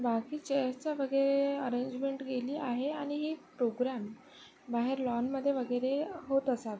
बाकी चेअर चे वगैरे अरेंजमेंट केली आहे आणि ही प्रोग्रॅम बाहेर लॉन मध्ये वगैरे अ होत असाव.